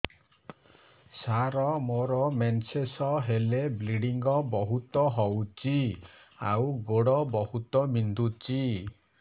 ସାର ମୋର ମେନ୍ସେସ ହେଲେ ବ୍ଲିଡ଼ିଙ୍ଗ ବହୁତ ହଉଚି ଆଉ ଗୋଡ ବହୁତ ବିନ୍ଧୁଚି